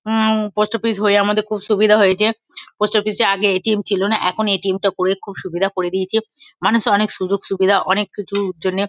উ-ম post office হয়ে আমাদের খুব সুবিধা হয়েছে। পোস্ট অফিস -এ আগে এ.টি.এম. ছিল না এখন এ.টি.এম. -টা করে খুব সুবিধা করে দিয়েছে। মানুষ অনেক সুযোগ সুবিধা অনেক কিছুর জন্যে ।